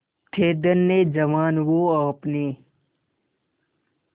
थे धन्य जवान वो आपने